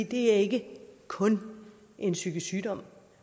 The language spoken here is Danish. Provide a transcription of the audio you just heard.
det er ikke kun en psykisk sygdom